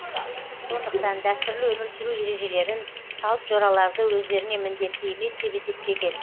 сондықтан дәстүрлі өмір сүру ережелерін салт жораларды өздеріне міндетті емес деп есептеген